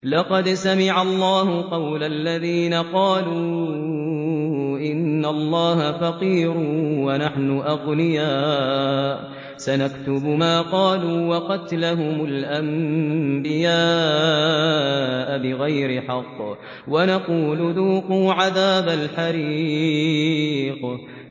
لَّقَدْ سَمِعَ اللَّهُ قَوْلَ الَّذِينَ قَالُوا إِنَّ اللَّهَ فَقِيرٌ وَنَحْنُ أَغْنِيَاءُ ۘ سَنَكْتُبُ مَا قَالُوا وَقَتْلَهُمُ الْأَنبِيَاءَ بِغَيْرِ حَقٍّ وَنَقُولُ ذُوقُوا عَذَابَ الْحَرِيقِ